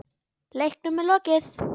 Leiknum er lokið.